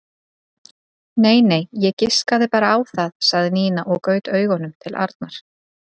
Nei nei, ég giskaði bara á það sagði Nína og gaut augunum til Arnar.